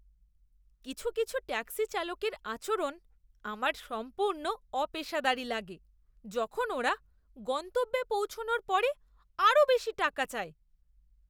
কিছু কিছু ট্যাক্সি চালকের আচরণ আমার সম্পূর্ণ অপেশাদারী লাগে যখন ওরা গন্তব্যে পৌঁছানোর পরে আরও বেশি টাকা চায়!